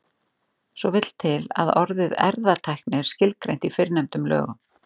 svo vill til að orðið erfðatækni er skilgreint í fyrrnefndum lögum